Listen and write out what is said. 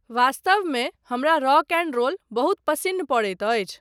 वास्तवमे हमरा rock and roll बहुत पसिन्न पड़ैत अछि।